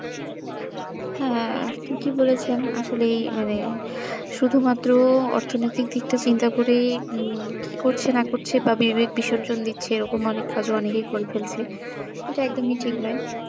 হ্যাঁ ঠিকই বলেছেন আসলেই মানে শুধু মাত্র অর্থনৈতিক দিকটা চিন্তা করে উম কি করছে না করছে বা বিবেক বিসর্জন দিচ্ছে ওরকম অনেক কাজও অনেকেই করে ফেলছেএইটা একদমই ঠিক নয়